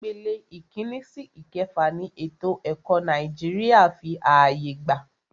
Ìpele ìkínní sí ìkẹfà ni ètò ẹ̀kọ́ Nàìjíríà fí ààyè gbà.